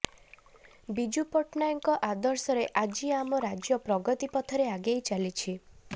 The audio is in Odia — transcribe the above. ବିଜୁ ପଟ୍ଟନାୟକଙ୍କ ଆଦର୍ଶରେ ଆଜି ଆମ ରାଜ୍ୟ ପ୍ରଗତି ପଥରେ ଆଗେଇ ଚାଲିଛି